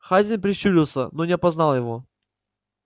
хазин прищурился но не опознал его